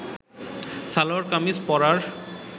সালোয়ার কামিজ পরার